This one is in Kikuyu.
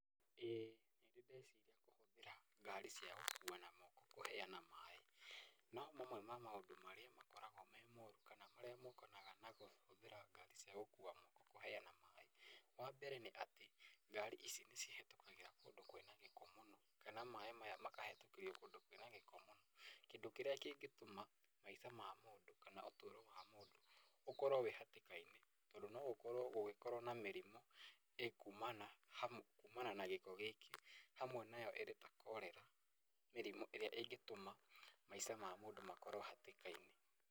ĩĩ nĩ ndĩ ndeciria kũhũthĩra ngari cia gũkua na moko kũheana maĩ. No mamwe ma maũndũ marĩa makoragwo me moru kana marĩa mokanaga na kũhũthĩra ngari cia gũkua na moko kũheana maĩ, wa mbere nĩ atĩ ngari ici nĩ cihetũkagĩra kũndũ kwĩna gĩko mũno. Kana maĩ maya makahetũkĩrio kũndũ kwĩna gĩko mũno, kĩndũ kĩrĩa kĩngĩtũma maica ma mũndũ kana ũtũro wa mũndũ ũkorwo wĩ hatĩka-inĩ, tondũ no gũkorwo gũgĩkorwo na mĩrimũ ĩkuumana na gĩko gĩkĩ. Hamwe nayo ĩrĩ ta Korera, mĩrimũ ĩrĩa ĩngĩtũma maica mamũndũ makorwo hatĩka-inĩ.